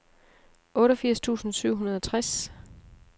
otteogfirs tusind syv hundrede og tres